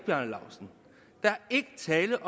selv